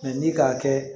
ni k'a kɛ